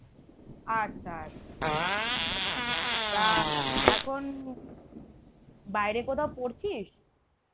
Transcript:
আচ্ছা তা এখন বাইরে কোথাও পড়ছিস?